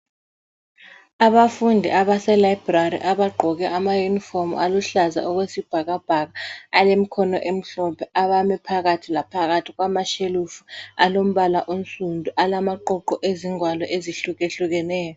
Abafundi abase library abagqoke ama uniform aluhlaza okwesibhakabhaka ,alemkhono emhlophe ,abame phakathi laphakathi kwama shelufu alombala onsundu alamaqoqo ezingwalo ezihlukehlukeneyo